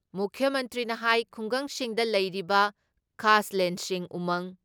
ꯃꯨꯈ꯭ꯌ ꯃꯟꯇ꯭ꯔꯤꯅ ꯍꯥꯏ ꯈꯨꯡꯒꯪꯁꯤꯡꯗ ꯂꯩꯔꯤꯕ ꯈꯥꯁꯂꯦꯟꯁꯤꯡ ꯎꯃꯪ